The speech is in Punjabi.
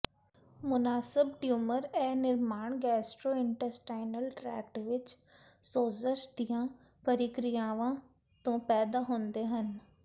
ਮੁਨਾਸਬ ਟਿਊਮਰ ਇਹ ਨਿਰਮਾਣ ਗੈਸਟਰੋਇੰਟੇਸਟਾਈਨਲ ਟ੍ਰੈਕਟ ਵਿੱਚ ਸੋਜ਼ਸ਼ ਦੀਆਂ ਪ੍ਰਕਿਰਿਆਵਾਂ ਤੋਂ ਪੈਦਾ ਹੁੰਦੇ ਹਨ